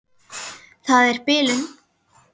Það er bilun.